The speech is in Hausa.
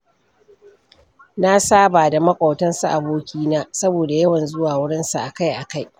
Na saba da maƙotan su abokina, saboda yawan zuwa wurinsa akai-akai.